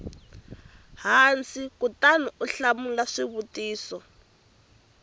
hansi kutani u hlamula swivutiso